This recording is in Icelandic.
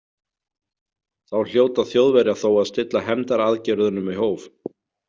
Þá hljóta Þjóðverjar þó að stilla hefndaraðgerðunum í hóf.